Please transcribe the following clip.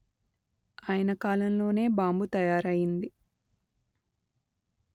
ఆయన కాలంలోనే బాంబు తయారయింది